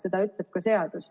Seda ütleb ka seadus.